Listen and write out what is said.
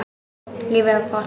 Lífið er gott.